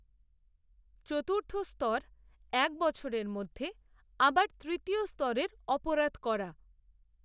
চতুর্থ স্তর, এক বছরের মধ্যে, আবার তৃতীয় স্তরের, অপরাধ, করা